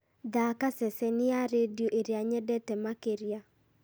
thaaka ceceni ya rĩndiũ ĩrĩa nyendete makĩria